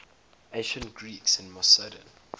ancient greeks in macedon